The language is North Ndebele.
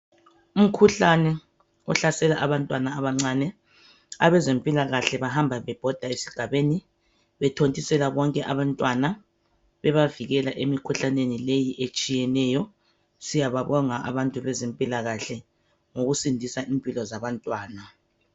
Umkhuhlane ohlasela abantwana abancane. Abezempilakahle bahamba bebhoda esigabeni bethontisela bonke abantwana bebavikela emikhuhlaneni leyi etshiyeneyo. Siyabonga abantu bezempilakahle ngokusindisa impilo zabantwana.